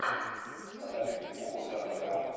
покажи фильмуху жанра драма